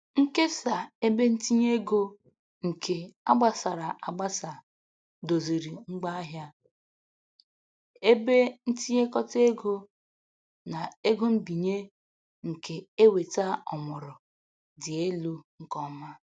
Nkesa ebentinyeego nke a gbasara agbasa doziri ngwaahịa, ebe ntinyekọta ego, na ego mbinye nke eweta ọmụrụ dị elu nke ọma.